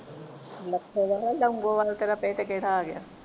Lakhowal ਆ Longowal ਤੇਰਾ ਕਿਹੜਾ ਪਿੰਡ ਆ ਗਿਆ